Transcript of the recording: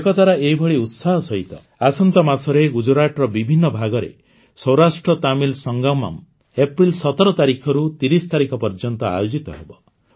ଏକତାର ଏହିଭଳି ଉତ୍ସାହ ସହିତ ଆସନ୍ତା ମାସରେ ଗୁଜରାଟର ବିଭିନ୍ନ ଭାଗରେ ସୌରାଷ୍ଟ୍ରତାମିଲ ସଂଗମମ୍ ଅପ୍ରେଲ ୧୭ ତାରିଖଠାରୁ ୩୦ ତାରିଖ ପର୍ଯ୍ୟନ୍ତ ଆୟୋଜିତ ହେବ